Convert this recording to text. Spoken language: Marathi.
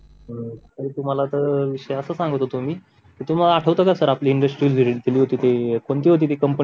सर तुम्हाला तर विषय असा सांगत होतो सर कि तुम्हाला अं आठवत का आपण इन्व्हेस्टमेंट केली होती ती कोणती होती ती कंपनी